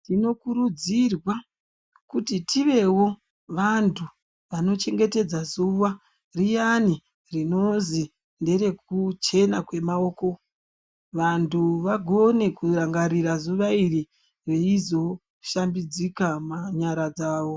Tinokurudzirwa kuti tivewo vantu vanochengetedza zuwa riyani rinonzi nderekuchena kwemaoko vantu vagone kurangarira zuwa iri veizoshambidzika nyara dzawo.